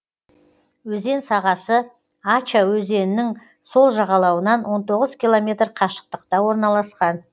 өзен сағасы ача өзенінің сол жағалауынан он тоғыз километр қашықтықта орналасқан